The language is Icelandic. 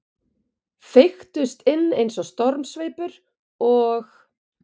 Feyktust inn eins og stormsveipur, og